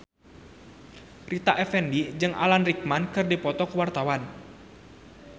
Rita Effendy jeung Alan Rickman keur dipoto ku wartawan